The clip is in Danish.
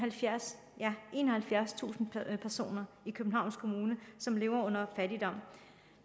enoghalvfjerdstusind personer i københavns kommune som lever